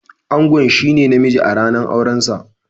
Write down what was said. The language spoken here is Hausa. Angon shine na mijin a ranan auren sa.